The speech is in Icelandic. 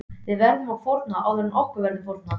Við verðum að fórna áður en okkur verður fórnað.